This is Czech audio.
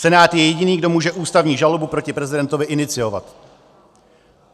Senát je jediný, kdo může ústavní žalobu proti prezidentovi iniciovat.